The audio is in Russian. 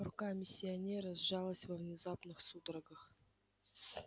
рука миссионера сжалась во внезапных судорогах